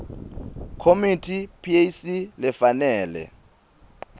committee pac lefanele